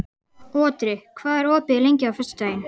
Otri, hvað er opið lengi á föstudaginn?